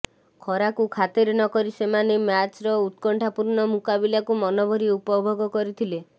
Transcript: ଖରାକୁ ଖାତିର ନକରି ସେମାନେ ମ୍ୟାଚ୍ର ଉତ୍କଣ୍ଠାପୂର୍ଣ୍ଣ ମୁକାବିଲାକୁ ମନଭରି ଉପଭୋଗ କରିଥିଲେ